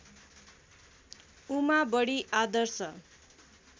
उमा बडी आदर्श